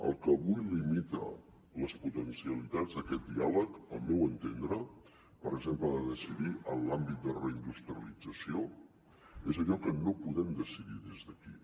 el que avui limita les potencialitats d’aquest diàleg al meu entendre per exemple de decidir en l’àmbit de reindustrialització és allò que no podem decidir des d’aquí